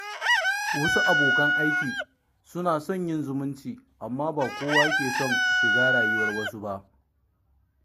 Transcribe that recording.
Wasu abokan aikin suna son yin zumunci, amma ba kowa ke son shiga rayuwar wasu ba.